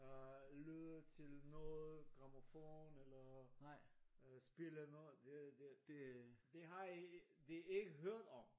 Øh lytte til noget grammofon eller spille noget det det har de ikke hørt om